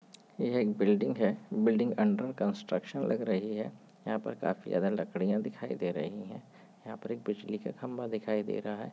यह एक बिल्डिंग है बिल्डिंग अन्डर कन्स्ट्रक्शन लग रही है यहाँ पर काफी ज्यादा लकड़ियाँ दिखाई दे रही है यहाँ पर एक बिजली का खंबा दिखाई दे रहा है।